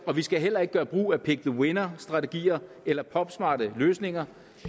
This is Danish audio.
og vi skal heller ikke gøre brug af pick the winner strategier eller popsmarte løsninger